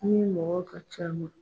Ni mɔgɔ ka c'a ma